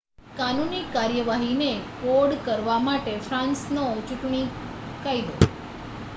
કાનૂની કાર્યવાહીને કોડકરવા માટે ફ્રાન્સનો ચૂંટણી કાયદો